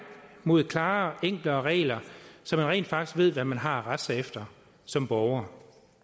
mod klarere enklere regler så man rent faktisk ved hvad man har at rette sig efter som borger